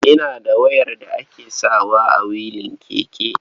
Ina da wayar da ake sawa a wilin keke.